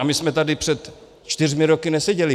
A my jsme tady před čtyřmi roky neseděli.